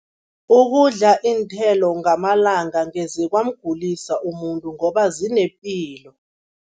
Ukudla iinthelo ngamalanga angeze kwamgulisa umuntu ngoba zinepilo.